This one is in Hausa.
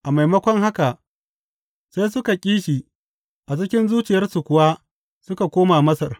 A maimakon haka, sai suka ƙi shi a cikin zuciyarsu kuwa suka koma Masar.